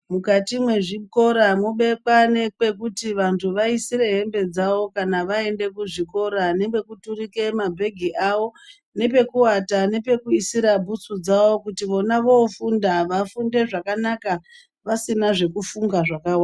Mukati mwezvikora mobekwa nepekuti vantu vayisire hembe dzavo, kana vayenda kuzvikora nepekuturika mabhengi avo, nepekuata, nepekuyisira bhutsu dzavo kuti vona vofunda vafunde zvakanaka pasina zvokufunga zvakawanda.